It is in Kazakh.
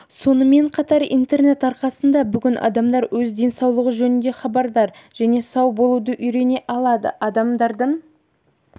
соңымен қатар интернет арқасында бүгін адамдар өз денсаулығы жөнінде хабардар және сау болуды үйрене алады адамдардың